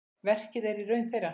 Verkið er í raun þeirra.